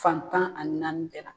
Fantan ani naani de la